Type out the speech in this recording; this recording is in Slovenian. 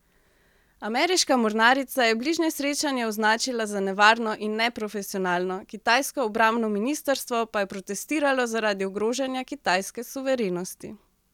Ameriška mornarica je bližnje srečanje označila za nevarno in neprofesionalno, kitajsko obrambno ministrstvo pa je protestiralo zaradi ogrožanja kitajske suverenosti.